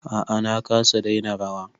A'a na kasa daina rawa